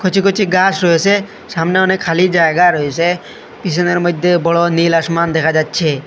কচি কচি গাছ রয়েসে সামনে অনেক খালি জায়গা রয়েসে পিছনের মইদ্যে বড় নীল আসমান দেখা যাচ্ছে।